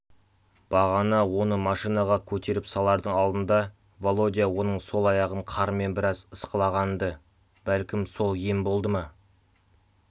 бағана оны машинаға көтеріп салардың алдында володя оның сол аяғын қармен біраз ысқылаған-ды бәлкім сол ем болды ма